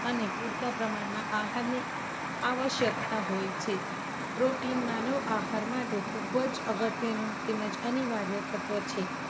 અને પૂરતા પ્રમાણમાં આહારની આવશ્યકતા હોય છે. protein માનો આહાર માટે ખૂબ જ અગત્યનું તેમ જ અનિવાર્ય તત્વ છે.